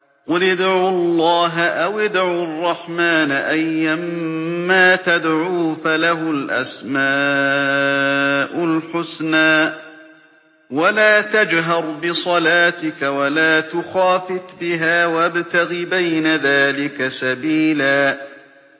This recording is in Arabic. قُلِ ادْعُوا اللَّهَ أَوِ ادْعُوا الرَّحْمَٰنَ ۖ أَيًّا مَّا تَدْعُوا فَلَهُ الْأَسْمَاءُ الْحُسْنَىٰ ۚ وَلَا تَجْهَرْ بِصَلَاتِكَ وَلَا تُخَافِتْ بِهَا وَابْتَغِ بَيْنَ ذَٰلِكَ سَبِيلًا